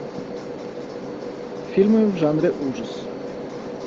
фильмы в жанре ужас